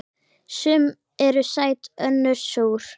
Sum eru sæt önnur súr.